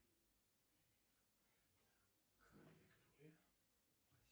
афина ассистент сколько денег осталось на карте втб